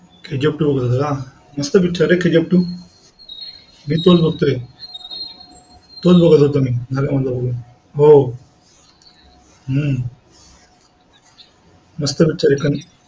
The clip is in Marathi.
kgf two बघत होता का? मस्त picture हे kgf two मी तोच बघतोए. तोच बघत होतो मी नव्या म्हणा होऊ जाऊ द्या. हो हम्म मस्त picture हे